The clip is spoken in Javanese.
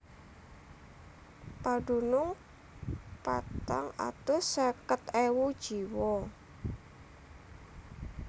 Padunung patang atus seket ewu jiwa